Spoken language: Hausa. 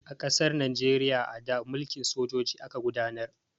A ƙasar Najeriya a da, mulkin sojoji aka gudanar.